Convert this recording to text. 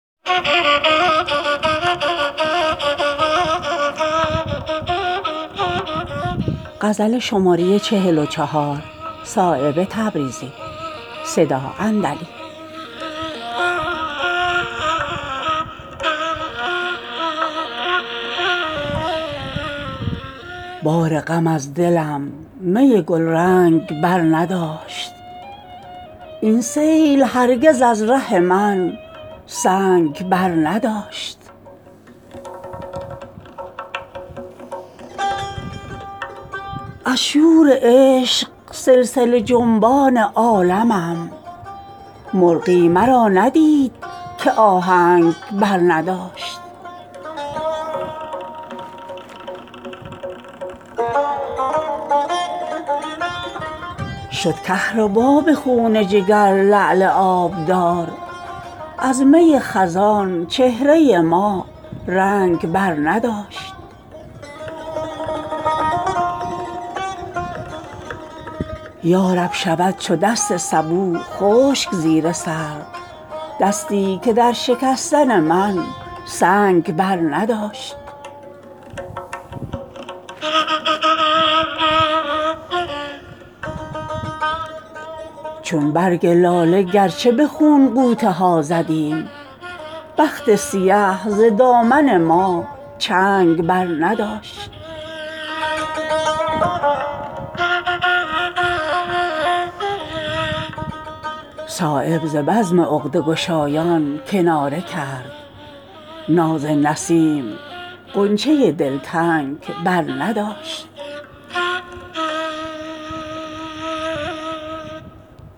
بار غم از دلم می گلرنگ بر نداشت این سیل هرگز از ره من سنگ برنداشت از بس فشرد گریه بیدادگر مرا ناخن ز کاوش دل من رنگ برنداشت اوقات خود ز مشق پریشان سیاه کرد چشمی که نسخه زان خط شبرنگ برنداشت از شور عشق سلسله جنبان عالمم مرغی مرا ندید که آهنگ برنداشت شد کهربا به خون جگر لعل آبدار از می خزان چهره ما رنگ برنداشت یارب شود چو دست سبو خشک زیر سر دستی که در شکستن من سنگ برنداشت چون برگ لاله گرچه به خون غوطه ها زدیم بخت سیه ز دامن ما چنگ برنداشت برداشتیم بار غم خلق سالها از راه ما اگرچه کسی سنگ برنداشت بسم الله امید بود زخم تیغ عشق بی حاصل آن که زخم چنین جنگ برنداشت هر چند همچو سایه فتادم به پای خلق از خاک ره مرا کسی از ننگ برنداشت صایب ز بزم عقده گشایان کناره کرد ناز نسیم غنچه دلتنگ برنداشت